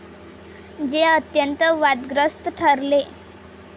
जे अत्यंत वादग्रस्त ठरले.